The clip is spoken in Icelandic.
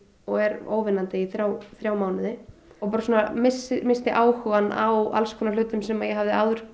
og er óvinnandi í þrjá þrjá mánuði og bara missti áhugann á alls konar hlutum sem ég hafði áður